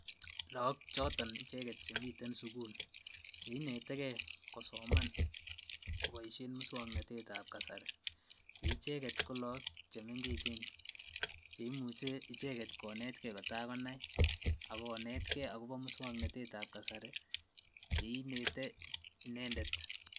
Look choton icheket chemiten sukul cheineteke kosoman koboishen muswoknotetab kasari cheicheket ko look chemeng'echen cheimuche icheket konetke kotakonai ak konetke akobo muswoknotetab kasari yeinetenete inendet.